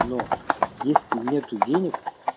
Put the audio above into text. но если нету денег